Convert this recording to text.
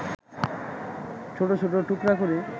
ছোট ছোট টুকরা করে